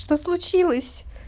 что случилось